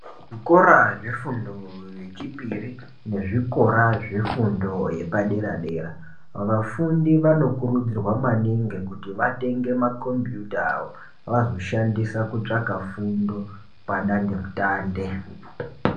Zvikora zvefundo yechipiri nezvikora zvefundo yepadera dera vafundi vanokurudzirwa maningi kuti vatenge makombiyuta avo vazoshandisa kutsvaka fundo padande mutande.